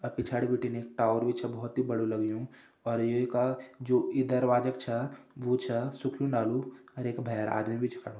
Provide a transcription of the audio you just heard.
अ पिछाड़ी बिटिन एक टावर भी छ बोहत ही बड़ु लग्यूँ और यू का जु ई दरवाजक छा वो छा सुख्यूं डालू अर येका भैर आदमी भी छा खड़ु ह --